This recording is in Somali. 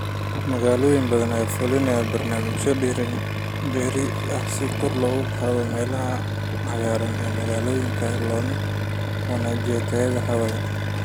Magaalooyin badan ayaa fulinaya barnaamijyo dhir beerid ah si kor loogu qaado meelaha cagaaran ee magaalooyinka loona wanaajiyo tayada hawada.